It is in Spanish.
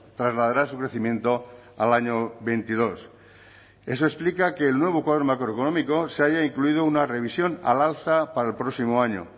trasladará su crecimiento al año veintidós eso explica que el nuevo cuadro macroeconómico se haya incluido una revisión al alza para el próximo año